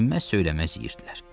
Dinməz, söyləməz yeyirdilər.